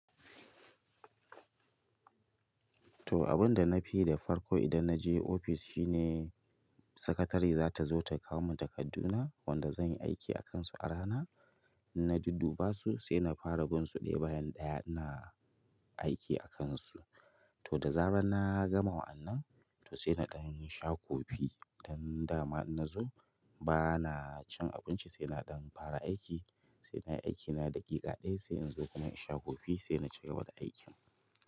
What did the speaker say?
To, abin da na fi yi da farko idan na je ofis shine sakatari za ta zo ta kawo mun takadduna wanda zan yi aiki akansu a rana. Na dudduba su sai na fara bin su ɗaya bayan ɗaya ina aiki akansu. To da zara na gama wa'annan, to sai na ɗan sha kofi don dama in na zo ba na cin abinci sai na ɗan fara aiki. Sai na yi aikina da ƙe ɗadin siya sai in zo kuma in sha kofi sai na cigaba da aikin.